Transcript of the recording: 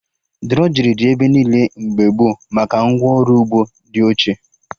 Drọjrị dị ebe niile mgbe gboo maka ngwa ọrụ ugbo dị ochie